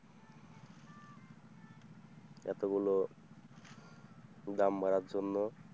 এতগুলো দাম বাড়ার জন্য।